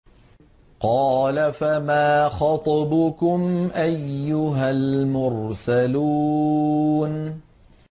۞ قَالَ فَمَا خَطْبُكُمْ أَيُّهَا الْمُرْسَلُونَ